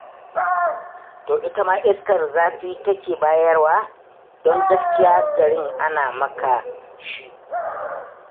To ai ita ma iskar zafin take bayarwa, don gaskiya garin ana maka shi.